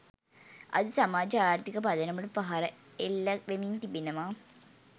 අද සමාජ ආර්ථික පදනමට පහර එල්ල වෙමින් තිබෙනවා